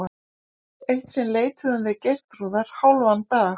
Eitt sinn leituðum við Geirþrúðar hálfan dag.